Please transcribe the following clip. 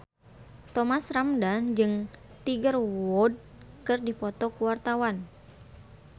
Thomas Ramdhan jeung Tiger Wood keur dipoto ku wartawan